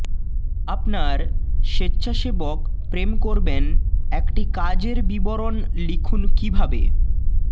আপনার স্বেচ্ছাসেবক প্রেম করবেন একটি কাজের বিবরণ লিখুন কিভাবে